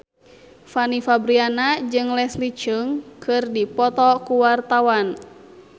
Fanny Fabriana jeung Leslie Cheung keur dipoto ku wartawan